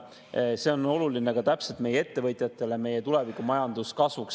Aga see on oluline ka meie ettevõtjatele, meie tuleviku majanduskasvuks.